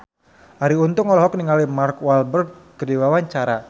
Arie Untung olohok ningali Mark Walberg keur diwawancara